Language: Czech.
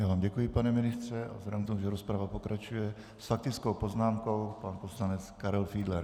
Já vám děkuji, pane ministře a vzhledem k tomu, že rozprava pokračuje, s faktickou poznámkou pan poslanec Karel Fiedler.